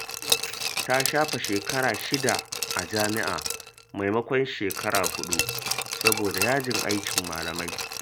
Ta shafe shekara shida a jami’a, maimakon shekara huɗu saboda yajin aikin malamai.